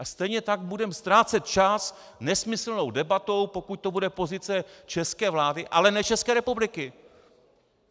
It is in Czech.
A stejně tak budeme ztrácet čas nesmyslnou debatou, pokud to bude pozice české vlády, ale ne České republiky!